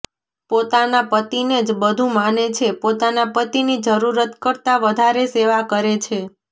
પોતાના પતિને જ બધું માને છે પોતાના પતિની જરૂરત કરતાં વધારે સેવા કરે છે